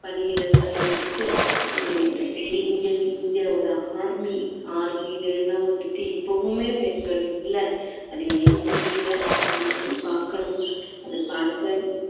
பணியிடங்களில வந்துட்டு உம் இங்க இந்தியாவோட army army ல எல்லாம் வந்துட்டு இப்பவுமே பெண்கள் இல்ல அது ஏன் தெரியல அது ஏன்னு பாக்கணும் அதை பார்த்து